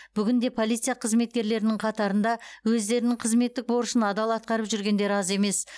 бүгінде полиция қызметкерлерінің қатарында өздерінің қызметтік борышын адал атқарып жүргендер аз емес